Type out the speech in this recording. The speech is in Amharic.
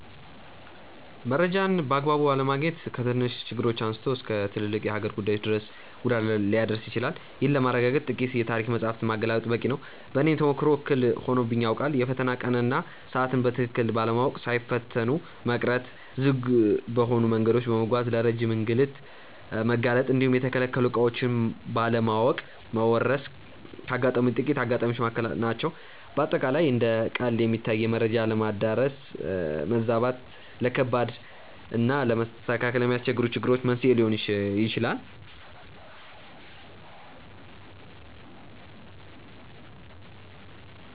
መረጃን በአግባቡ አለማግኘት ከትንንሽ ችግሮች አንስቶ እስከ ትልልቅ የሀገር ጉዳዮች ድረስ ጉዳት ሊያደርስ ይችላል። ይህንን ለማረጋገጥ ጥቂት የታሪክ መጻሕፍትን ማገላበጥ በቂ ነው። በእኔም ተሞክሮ እክል ሆኖብኝ ያውቃል። የፈተና ቀንን እና ሰዓትን በትክክል ባለማወቅ ሳይፈተኑ መቅረት፣ ዝግ በሆኑ መንገዶች በመጓዝ ለረጅም እንግልት መጋለጥ እንዲሁም የተከለከሉ ዕቃዎችን ባለማወቅ መወረስ ካጋጠሙኝ ጥቂት አጋጣሚዎች መካከል ናቸው። በአጠቃላይ እንደ ቀልድ የሚታዩ የመረጃ አለመዳረስ እና መዛባት፣ ለከባድ እና ለማስተካከል ለሚያስቸግሩ ችግሮች መንስኤ ሊሆኑ ይችላሉ።